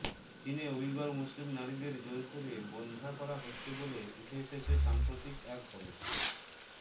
চীনে উইগর মুসলিম নারীদের জোর করে বন্ধ্যা করা হচ্ছে বলে উঠে এসেছে সাম্প্রতিক এক গবেষণায়